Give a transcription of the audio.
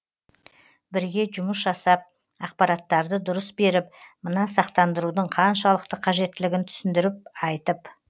бірге жұмыс жасап ақпараттарды дұрыс беріп мына сақтандырудың қаншалықты қажеттілігін түсіндіріп айтып